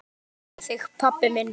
Guð geymi þig, pabbi minn.